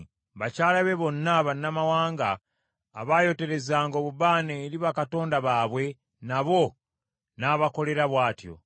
Bakyala be bonna bannamawanga, abaayoterezanga obubaane eri bakatonda baabwe, nabo n’abakolera bw’atyo.